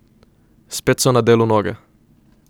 Spet so na delu noge.